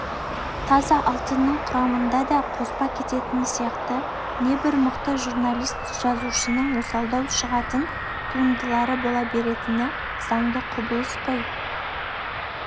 таза алтынның құрамында да қоспа кететіні сияқты небір мықты журналист-жазушының осалдау шығатын туындылары бола беретіні заңды құбылыс қой